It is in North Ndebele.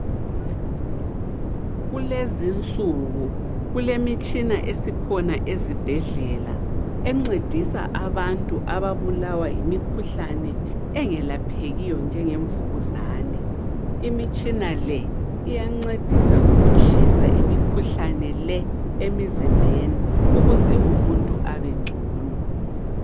Kulezinsuku kulemitshina esikhona ezibhedlela, encedisa abantu ababulawa yimikhuhlane engelaphekiyo njenge mvukuzane. Imitshina le iyancedisa ukutshisa imikhuhlane le emzimbeni ukuze umuntu abengcono.